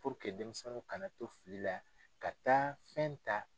denmisɛnninw kana to fili la ka taa fɛn ta.